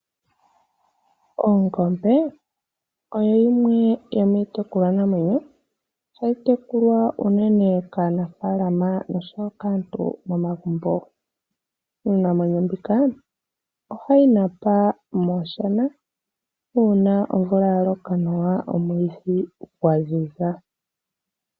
Oongombe oyo yimwe yomiitekulwa namwenyo hayi tekulwa unene kaanafalama noshowo kaantu momagumbo. Iinamwenyo mbika ohayi napa momadhiya una omvula yaloka nawa omwiidhi gwaziza.